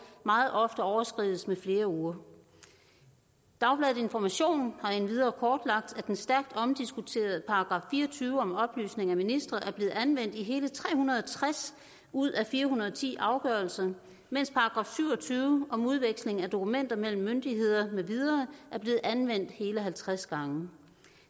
meget ofte overskrides med flere uger dagbladet information har endvidere kortlagt at den stærkt omdiskuterede § fire og tyve om oplysning af ministre er blevet anvendt i hele tre hundrede og tres ud af fire hundrede og ti afgørelser mens § syv og tyve om udveksling af dokumenter mellem myndigheder med videre er blevet anvendt hele halvtreds gange